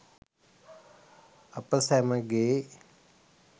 අප සැමගේ